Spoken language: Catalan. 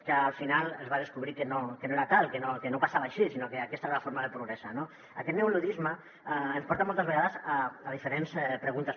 que al final es va descobrir que no era tal que no passava així sinó que aquesta era la forma de progressar no aquest neoluddisme ens porta moltes vegades a diferents preguntes